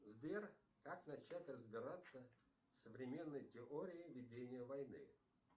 сбер как начать разбираться в современной теории ведения войны